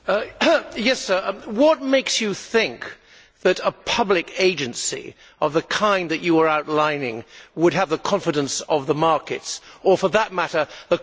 What makes you think that a public agency of the kind that you are outlining would have the confidence of the markets, or, for that matter, the confidence of anybody?